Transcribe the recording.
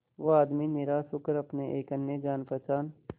वो आदमी निराश होकर अपने एक अन्य जान पहचान